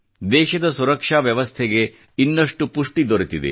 ದೇಶದ ಸುರಕ್ಷಾ ವ್ಯವಸ್ಥೆ ಗೆ ಇನ್ನಷ್ಟು ಪುಷ್ಟಿ ದೊರೆತಿದೆ